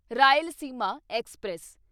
Rayalaseema express